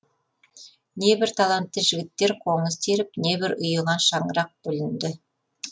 небір талантты жігіттер қоңыз теріп небір ұйыған шаңырақ бүлінді